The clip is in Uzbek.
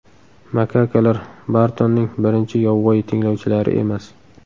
Makakalar Bartonning birinchi yovvoyi tinglovchilari emas.